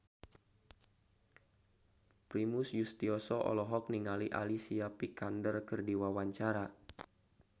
Primus Yustisio olohok ningali Alicia Vikander keur diwawancara